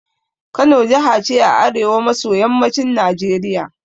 Kano jaha ce a arewa maso yammacin Najeriya